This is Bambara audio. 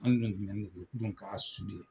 Anw dun tumɛ de don dun ka qu'A.